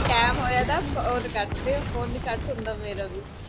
time ਹੋਇਆ ਤਾ phone ਕੱਟ ਦਿਓ ਫੋਨ ਨੀ ਕੱਟ ਹੁੰਦਾ ਮੇਰਾ ਵੀ